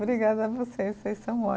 Obrigada a vocês, vocês são